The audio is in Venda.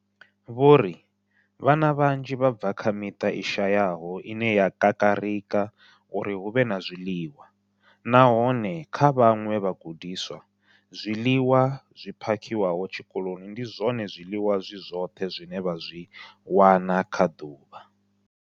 Vho ri, Vhana vhanzhi vha bva kha miṱa i shayaho ine ya kakarika uri hu vhe na zwiḽiwa, nahone kha vhaṅwe vhagudiswa, zwiḽiwa zwi phakhiwaho tshikoloni ndi zwone zwiḽiwa zwi zwoṱhe zwine vha zwi wana kha ḓuvha.